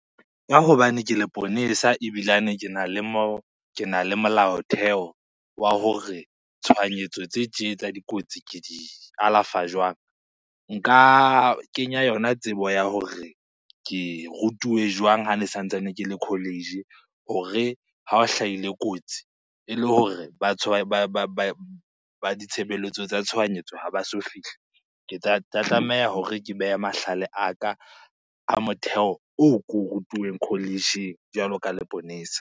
Ka hobane ke leponesa ebilane kena le kena le molaotheo wa hore tshohanyetso tse tje tsa dikotsi ke di alafa jwang. Nka kenya yona tsebo ya hore ke rutuwe jwang hane sa ntsane ke le college-ing hore ha o hlahile kotsi ele hore ba ditshebeletso tsa tshohanyetso ha ba so fihle. Ke tla tlameha hore ke behe mahlale a ka a motheo oo ko o rutuweng college-ing jwalo ka leponesa.